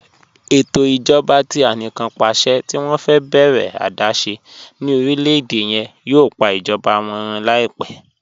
Ẹtọ ijọba tí àníkànpàṣẹ̀ tì wọn fẹ bẹ̀rẹ adaṣẹ̀ ni orílẹ̀-èdè yẹn yòò pà ijọba wọn rún laipẹ̀.